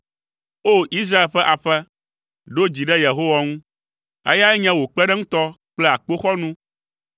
O! Israel ƒe aƒe, ɖo dzi ɖe Yehowa ŋu, eyae nye wò kpeɖeŋutɔ kple akpoxɔnu.